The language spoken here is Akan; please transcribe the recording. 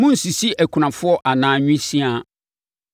“Monnsisi akunafoɔ anaa nwisiaa;